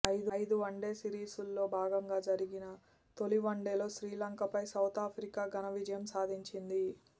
ఐదు వన్డేల సిరీస్లో భాగంగా జరిగిన తొలి వన్డేలో శ్రీలంకపై సౌతాఫ్రికా ఘన విజయం సాధించింది